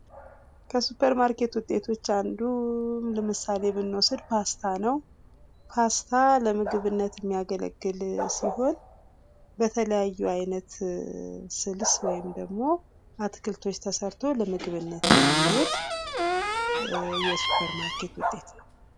ከሱፐር ማርኬት ውጤቶች ውስጥ አንዱ ለምሳሌ ብኖስድ ፓስታ ነው ። ፓስታ ለምግብነት የሚያገለግ ሲሆን በተለያዩ አይነት ስልስ ወይንም ደግሞ አትክልቶች ተሰርቶ ለምግብነት የሚሆን የሱፐር ማርኬት ውጤት ነው።